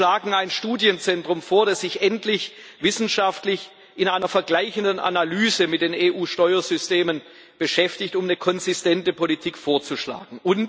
Wir schlagen ein Studienzentrum vor, das sich endlich wissenschaftlich in einer vergleichenden Analyse mit den EU Steuersystemen beschäftigt, um eine konsistente Politik vorzuschlagen.